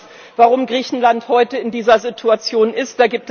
Ich weiß, warum Griechenland heute in dieser Situation ist.